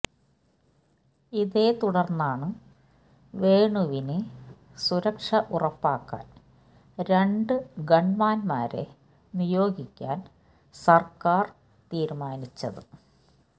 ഇതേത്തുടർന്നാണു വേണുവിനു സുരക്ഷ ഉറപ്പാക്കാൻ രണ്ടു ഗൺമാന്മാരെ നിയോഗിക്കാൻ സർക്കാർ തീരുമാനിച്ചത്